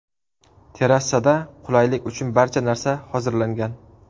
Terrasada qulaylik uchun barcha narsa hozirlangan.